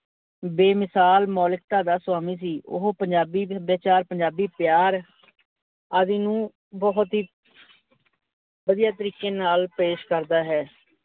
ਬੇਮਿਸਾਲ ਮੋਲੀਕਤਾ ਦਾ ਸੋਆਮੀ ਸੀ, ਓਹੋ ਪੰਜਾਬੀ ਸਭਿਆਚਾਰ ਪੰਜਾਬੀ ਪਿਆਰ, ਆਦਿ ਨੂੰ ਬਹੁਤ ਹੀ ਵਧੀਆ ਤਰੀਕੇ ਨਾਲ ਪੇਸ਼ ਕਰਦਾ ਹੈ।